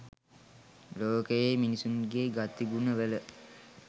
ලෝකයේ මිනිසුන්ගේ ගතිගුණවල